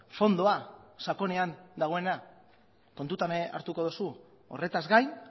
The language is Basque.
fondoa sakonean dagoena kontutan hartuko duzu horretaz gain